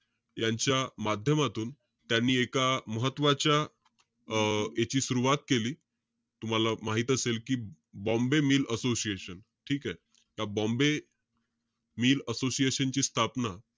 यांच्या माध्यमातून, त्यांनी एका महत्वाच्या अं याची सुरवात केली. तूम्हाला माहित असेल कि, बॉम्बे मिल असोशिएशन, ठीके? त्या बॉम्बे मिल असोसिएशन ची स्थापना,